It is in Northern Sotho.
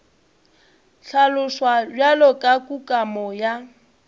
hlaloswa bjalo ka kukamo ya